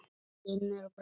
Finnur brosti.